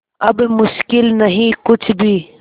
अब मुश्किल नहीं कुछ भी